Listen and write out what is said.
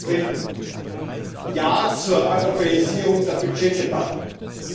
Zum Dritten, ja zur Europäisierung der Budget Erstellung!